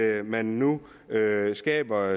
at man nu skaber